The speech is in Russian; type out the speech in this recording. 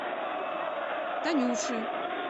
танюши